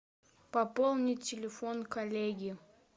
пополнить телефон коллеги